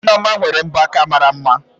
Nneoma nwere mbọ aka mara mma